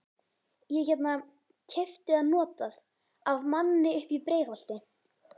Ég hérna. keypti það notað. af manni uppi í Breiðholti.